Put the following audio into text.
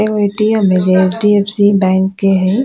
एगो ए.टी.एम. हेय जे एच.डी.अफ.सी. बैंक के हेय।